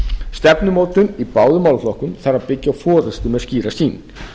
stefnumótun í báðum málaflokkum þarf að byggja á forustu með skýra sýn